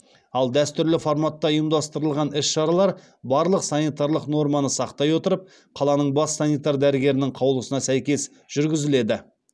ал дәстүрлі форматта ұйымдастырылған іс шаралар барлық санитарлық норманы сақтай отырып қаланың бас санитар дәрігерінің қаулысына сәйкес жүргізіледі